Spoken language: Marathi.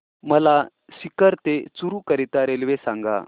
मला सीकर ते चुरु करीता रेल्वे सांगा